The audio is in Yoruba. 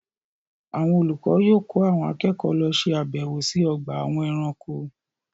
Àwọn olùkọ yóò kó àwọn akẹ́kọ̀ọ́ lọ ṣe àbẹ̀wò sí ọgbà àwọn ẹranko.